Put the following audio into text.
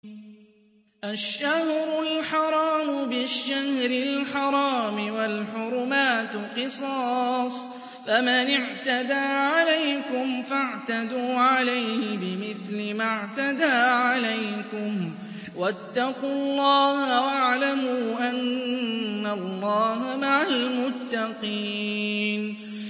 الشَّهْرُ الْحَرَامُ بِالشَّهْرِ الْحَرَامِ وَالْحُرُمَاتُ قِصَاصٌ ۚ فَمَنِ اعْتَدَىٰ عَلَيْكُمْ فَاعْتَدُوا عَلَيْهِ بِمِثْلِ مَا اعْتَدَىٰ عَلَيْكُمْ ۚ وَاتَّقُوا اللَّهَ وَاعْلَمُوا أَنَّ اللَّهَ مَعَ الْمُتَّقِينَ